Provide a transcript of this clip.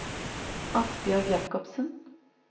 Asbjørg Jakobsen